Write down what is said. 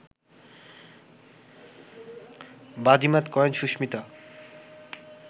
বাজিমাত করেন সুস্মিতা